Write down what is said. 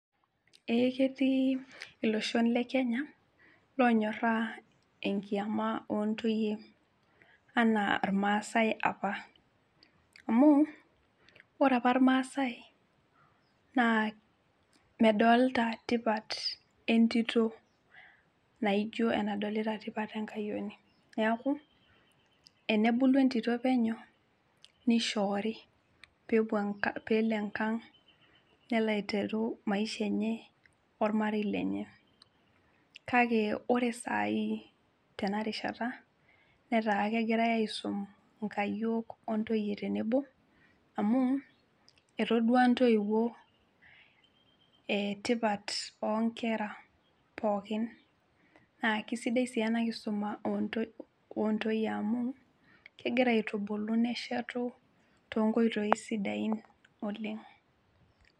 Eh ketii iloshon le kenya lonyorraa enkiama ontoyie enaa apa irmaasae apa amu ore apa irmaasae naa medolta tipat entito naijo enadolita tipat enkayioni niaku enebulu entito penyo nishoori peepuo peelo enkang nelo aiteru maisha enye ormarei lenye kake ore sai tenarishata netaa kegirae aisum inkayiok ontoyie tenebo amu etodua intoiwuo e tipat onkera pookin naa kisidai sii ena kisuma ontoyie amu kegira aitubulu neshetu tonkoitoi sidain oleng.